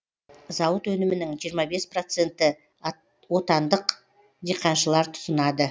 зауыт өнімінің жиырма бес проценты отандық диқаншылар тұтынады